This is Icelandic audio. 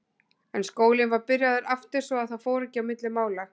En skólinn var byrjaður aftur svo að það fór ekki á milli mála.